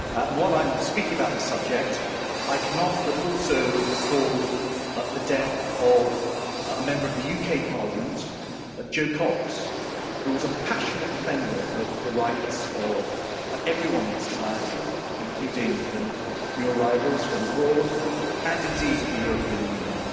While I'm speaking about this subject, I cannot but also recall the death of a Member of the UK Parliament, Jo Cox, who was a passionate defender of the rights of everyone in society, including new arrivals from abroad, and indeed of the European Union.